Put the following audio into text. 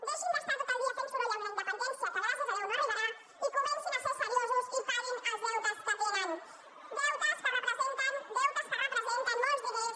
deixin d’estar tot el dia fent soroll amb la independència que gràcies a déu no arribarà i comencin a ser seriosos i paguin els deutes que tenen deutes que representen molts diners